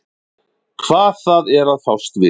Hvað það er að fást við.